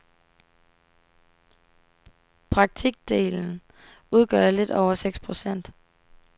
Praktikdelen udgør lidt over seks procent.